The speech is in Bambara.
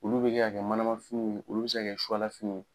Olu bɛ kɛ ka kɛ manama finiw ye, olu bɛ se kɛ suwala finiw ye.